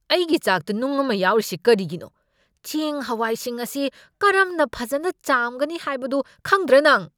ꯑꯩꯒꯤ ꯆꯥꯛꯇ ꯅꯨꯡ ꯑꯃ ꯌꯥꯎꯔꯤꯁꯤ ꯀꯔꯤꯒꯤꯅꯣ? ꯆꯦꯡ ꯍꯋꯥꯏꯁꯤꯡ ꯑꯁꯤ ꯀꯔꯝꯅ ꯐꯖꯅ ꯆꯥꯝꯒꯅꯤ ꯍꯥꯏꯕꯗꯨ ꯈꯪꯗ꯭ꯔꯥ ꯅꯪ?